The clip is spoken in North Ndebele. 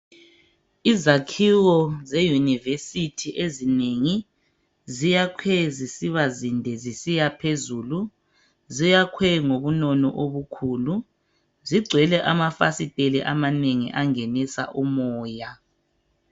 izakhiwo ze univesirty ezinengi ziyakhwe zisiba zinde zisiyaphezulu ziyakhwe ngobu nobu obukhulu zigcwele amafasitela amanengi angenisa umoya